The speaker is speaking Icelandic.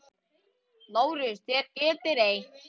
LÁRUS: Þér getið reynt.